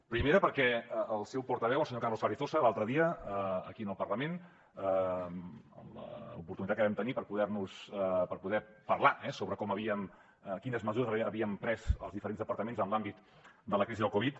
primera perquè el seu portaveu el senyor carlos carrizosa l’altre dia aquí al parlament en l’oportunitat que vam tenir per poder parlar sobre quines mesures havíem pres els diferents departaments en l’àmbit de la crisi de la covid